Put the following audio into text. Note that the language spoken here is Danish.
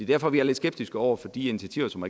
derfor vi er lidt skeptiske over for de initiativer som